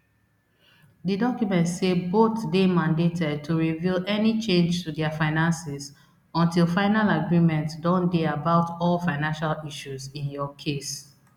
di document say both dey mandated to reveal any change to dia finances until final agreement don dey about all financial issues in your case